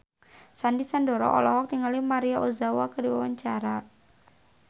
Sandy Sandoro olohok ningali Maria Ozawa keur diwawancara